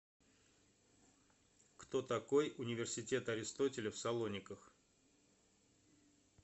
кто такой университет аристотеля в салониках